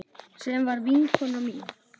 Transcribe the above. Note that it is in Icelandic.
Sem var vinkona mín.